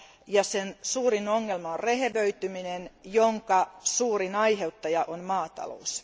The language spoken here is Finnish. ja sen suurin ongelma on rehevöityminen, jonka suurin aiheuttaja on maatalous.